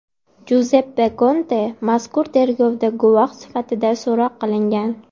Juzeppe Konte mazkur tergovda guvoh sifatida so‘roq qilingan.